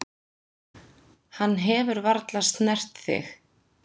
Hann hefur varla snert þig.